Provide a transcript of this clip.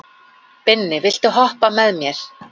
Binni, viltu hoppa með mér?